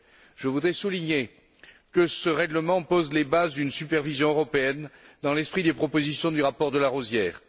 Je voudrais souligner que ce règlement jette les bases d'une supervision européenne dans l'esprit des propositions du rapport de Larosière.